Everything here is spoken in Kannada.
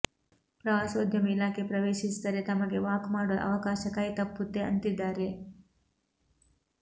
ಪ್ರವಾಸೋದ್ಯಮ ಇಲಾಖೆ ಪ್ರವೇಶಿಸಿದರೆ ತಮಗೆ ವಾಕ್ ಮಾಡುವ ಅವಕಾಶ ಕೈ ತಪ್ಪುತ್ತೆ ಅಂತಿದ್ದಾರೆ